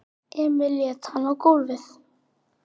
Emil lét hann á gólfið.